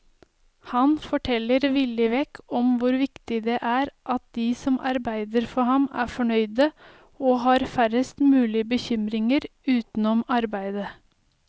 Han forteller villig vekk om hvor viktig det er at de som arbeider for ham er fornøyde og har færrest mulig bekymringer utenom arbeidet.